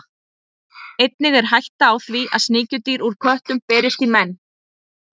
Einnig er hætta á því að sníkjudýr úr köttum berist í menn.